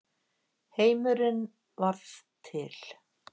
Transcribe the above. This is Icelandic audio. Heimurinn varð til.